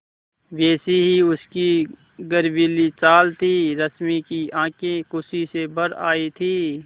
वैसी ही उसकी गर्वीली चाल थी रश्मि की आँखें खुशी से भर आई थीं